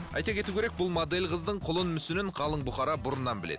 айта кету керек бұл модель қыздың құлын мүсінін қалың бұқара бұрыннан біледі